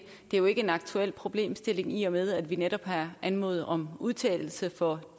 er jo ikke en aktuel problemstilling i og med at vi netop har anmodet om en udtalelse for